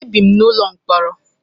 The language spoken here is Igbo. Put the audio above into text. Ebi m n'ụlọ mkpọrọ.